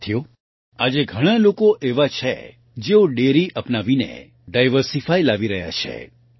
સાથીઓ આજે ઘણા લોકો એવા છે જેઓ ડેરી અપનાવીને ડાયવર્સિફાય લાવી રહ્યા છે